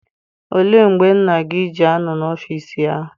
Olee mgbe nna gị ji anọ n'ọfịịsi ya?